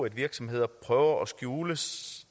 at virksomheder prøver at skjule